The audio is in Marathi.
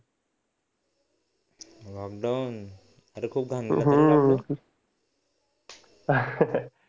लॉकडाउनअरे खूप